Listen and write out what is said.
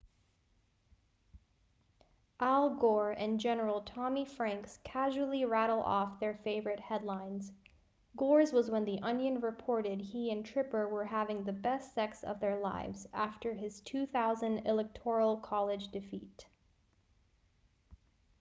al gore and general tommy franks casually rattle off their favorite headlines gore's was when the onion reported he and tipper were having the best sex of their lives after his 2000 electoral college defeat